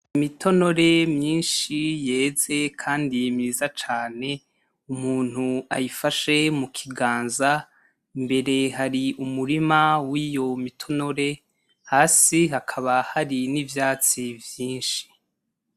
Imitonore myinshi yeze kandi myiza cane umuntu ayifashe mu kiganza, imbere hari umurima w'iyo mi tonore, hasi hakaba hari ivyatsi vyinshi.